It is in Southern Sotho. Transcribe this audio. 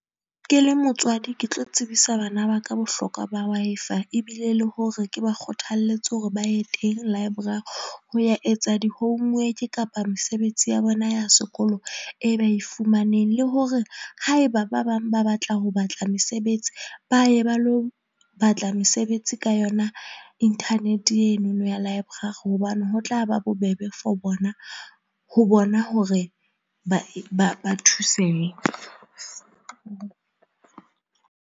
Ke le motswadi, ke tlo tsebisa bana ba ka bohlokwa ba Wi-Fi ebile le hore ke ba kgothalletse hore ba ye teng library ho ya etsa di homework kapa mesebetsi ya bona ya sekolo e ba e fumaneng. Le hore haeba ba bang ba batla ho batla mesebetsi ba ye ba lo batla mesebetsi ka yona inthanete eno no ya library, hobane ho tla ba bobebe for bona ho bona hore ba ba ba thusehe.